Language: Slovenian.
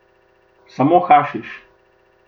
Samo hašiš.